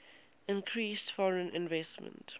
increased foreign investment